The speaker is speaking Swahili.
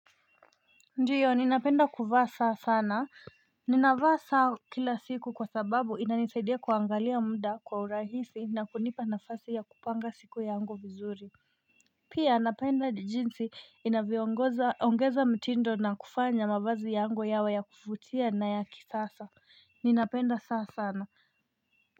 Ndiyo ninapenda kuvaa saa sana ninavaa saa kila siku kwa sababu inani saidia kuangalia mda kwa urahisi na kunipa nafasi ya kupanga siku yangu vizuri Pia napenda jinsi inavyo ongoza ongeza mtindo na kufanya mavazi yangu yawe ya kufutia na ya kisasa ninapenda saa sana.